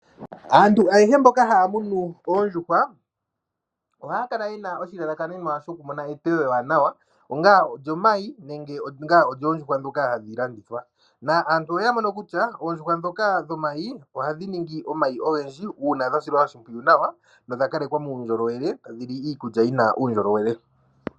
Aantu ayehe mboka haya munu oondjuhwa ohaya kala yena oshilalakanenwa sho ku mona eteyo ewanawa onga olyomayi nenge onga olyoondjuhwa ndhoka hadhi landithwa. Na aantu oya mono kutya oondjuhwa ndhoka dhomayi ohadhi ningi omayi ogendji uuna dha silwa oshimpwiyu nawa nodha kalekwa muundjolowele ta dhili iikulya yi na uundjolowele.